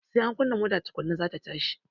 Sai an kunna mota tukunna za ta tashi